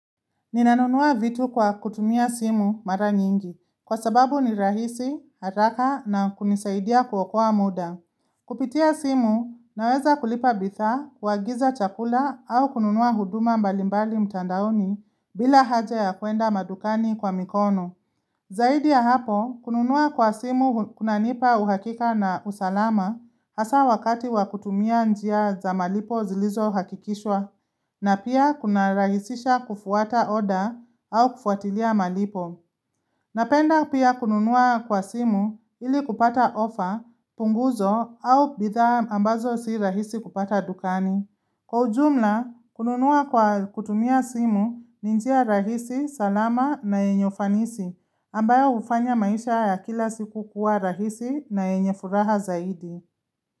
Ninanunua vitu kwa kutumia simu mara nyingi, kwa sababu ni rahisi, haraka na kunisaidia kuokua muda. Kupitia simu, naweza kulipa bidhaa, kuagiza chakula au kununua huduma mbalimbali mtandaoni bila haja ya kuenda madukani kwa mikono. Zaidi ya hapo, kununua kwa simu kunanipa uhakika na usalama hasa wakati wa kutumia njia za malipo zilizo hakikishwa na pia kunarahisisha kufuata order au kufuatilia malipo. Napenda pia kununua kwa simu ili kupata ofa, punguzo au bidhaa ambazo si rahisi kupata dukani. Kwa ujumla, kununua kwa kutumia simu ni njia rahisi, salama na yenye ufanisi ambayo hufanya maisha ya kila siku kuwa rahisi na enye furaha zaidi.